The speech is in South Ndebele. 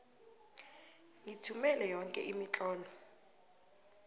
ngithumele yoke imitlolo